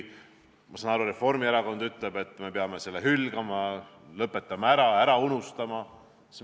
Ma saan aru, Reformierakond ütleb, et me peame selle hülgama, lõpetame selle ära, unustame ära.